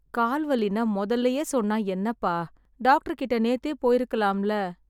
கால் வலின்னா மொதல்லயே சொன்னா என்னப்பா? டாக்டர்கிட்ட நேத்தே போயிருக்கலாம்ல...